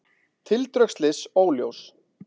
Tildrög slyss óljós